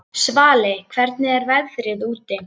Svali, hvernig er veðrið úti?